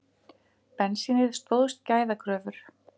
Bensínið stóðst gæðakröfur